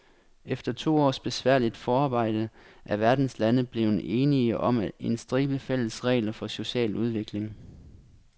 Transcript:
Efter to års besværligt forarbejde er verdens lande blevet enige om en stribe fælles regler for social udvikling.